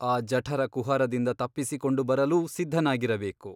ಆ ಜಠರಕುಹರದಿಂದ ತಪ್ಪಿಸಿಕೊಂಡು ಬರಲೂ ಸಿದ್ಧನಾಗಿರಬೇಕು.